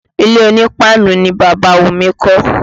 Ilé onípáánù ni Bàbá Wumi kọ́